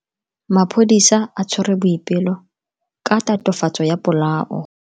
Maphodisa a tshwere Boipelo ka tatofatso ya polao.